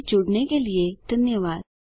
हमसे जुड़ने के लिए धन्यवाद